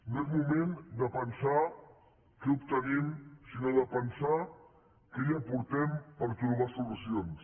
no és moment de pensar què obtenim sinó de pensar què hi aportem per trobar solucions